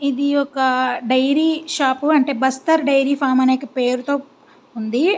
ఇది ఒక dairy shop అంటే బస్తర్ డైరీ ఫార్మ్ అనే పేరుతో ఉంది.